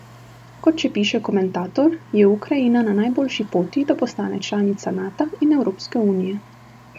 Kot še piše komentator, je Ukrajina na najboljši poti, da postane članica Nata in Evropske unije.